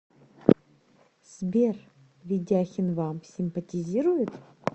сбер ведяхин вам симпатизирует